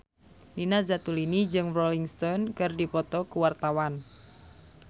Nina Zatulini jeung Rolling Stone keur dipoto ku wartawan